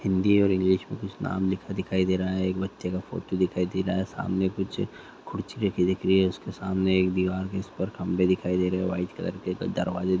हिंदी और इंग्लिश में कुछ नाम लिखा दिख दे रहा है एक बच्चे का फोटो दिखाई दे रहा है सामने कुछ कुर्सी रखी दिख रही है उसके सामने एक दीवार है जिसपर खंभे दिखाई दे रहे है वाइट कलर के दरवाजे दिखाई दे --